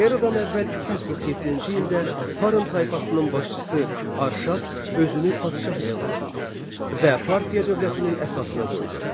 Eradan əvvəl 247-ci ildə Parın tayfasının başçısı Arşaq özünü padşah elan etdi və Parfiya dövlətinin əsasını qoydu.